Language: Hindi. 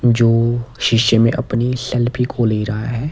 जो शीशे में अपनी सेल्फी को ले रहा है।